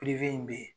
in bɛ yen